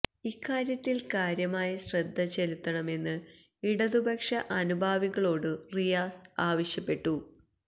ഇക്കാര്യത്തിൽ കാര്യമായ ശ്രദ്ധ ചെലുത്തണമെന്ന് ഇടതുപക്ഷ അനുഭാവികളോടു റിയാസ് ആവശ്